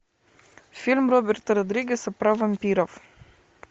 фильм роберта родригеса про вампиров